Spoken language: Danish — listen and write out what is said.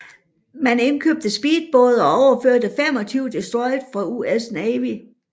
Man indkøbte speedbåde og overførte 25 destroyere fra US Navy